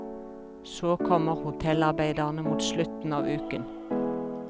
Så kommer hotellarbeiderne mot slutten av uken.